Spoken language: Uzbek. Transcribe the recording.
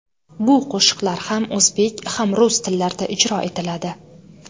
Bu qo‘shiqlar ham o‘zbek, ham rus tillarida ijro etiladi.